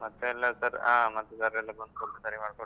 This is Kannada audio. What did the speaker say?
ಮತ್ತೆ ಎಲ್ಲಾಸ ಹಾ. ಮತ್ತೆ sir ಎಲ್ಲ ಬಂದು ಸರಿ ಮಾಡಿ ಕೊಟ್ರು